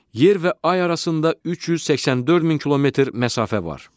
Yer və ay arasında 384 min kilometr məsafə var.